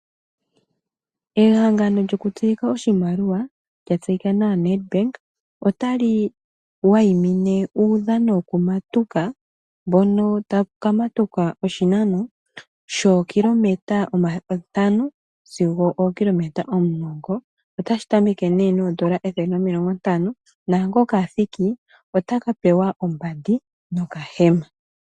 Ehangano lyoku tsilika oshimaliwa lya tseyika nawa Nedbank, otali wayimine uudhano woku matuka mbono taku kamatukwa oshinano shookilometa ntano sigo ookilometa omulongo. Otashi tameke nduno noondola ethele nomilongo ntano, naa ngoka athiki otaka pewa ombandi no kahema.